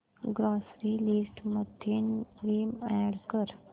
grocery list मध्ये Vim add कर